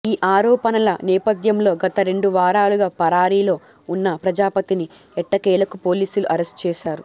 ఈ ఆరోపణల నేపధ్యంలో గత రెండు వారాలుగా పరారీలో ఉన్నా ప్రజాపతిని ఎట్టకేలకు పోలీసులు అరెస్ట్ చేశారు